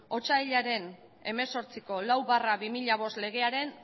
otsailaren hemezortziko lau barra bi mila bost legean